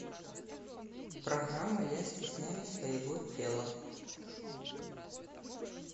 программа я стесняюсь своего тела